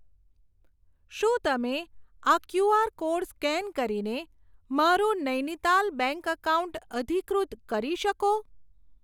શું તમે આ ક્યુઆર કોડ સ્કેન કરીને મારું નૈનીતાલ બેંક એકાઉન્ટ અધિકૃત કરી શકો?